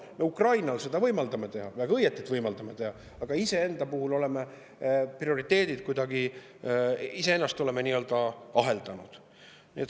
Me Ukrainal seda võimaldame teha, ja väga õige, et võimaldame teha, aga iseenda oleme nii-öelda aheldanud.